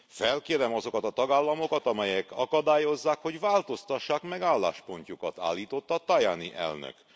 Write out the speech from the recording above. Felkérem azokat a tagállamokat, amelyek akadályozzák, hogy változtassák meg álláspontjukat, állította Tajani elnök.